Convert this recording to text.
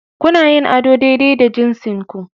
Kuna yin ado daidai da jinsinku